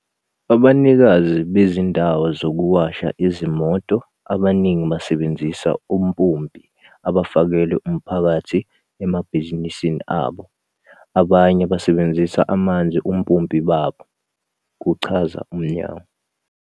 "Abanikazi bezindawo zokuwasha izimoto abaningi basebenzisa ompompi abafakelwe umphakathi emabhizinisini abo, abanye basebenzisa amanzi ompompi babo," kuchaza umnyango.